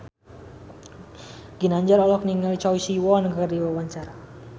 Ginanjar olohok ningali Choi Siwon keur diwawancara